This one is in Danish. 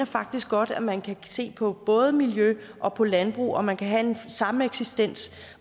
faktisk godt at man kan se på både miljø og på landbrug man kan have en sameksistens